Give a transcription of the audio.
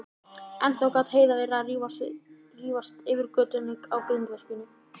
Ennþá gat Heiða verið að rífast yfir götunum á grindverkinu.